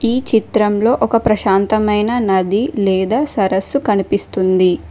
ఈ చిత్రంలో ఒక ప్రశాంతమైన నది లేదా సరస్సు కనిపిస్తుంది.